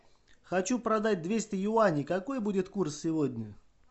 хочу продать двести юаней какой будет курс сегодня